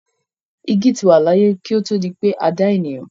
Igi ti wà láyé kí ó tó di pé a dá ènìyàn.